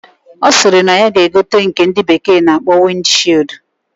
Osiri na ya ga egote nke ndi bekee na akpo wind shield.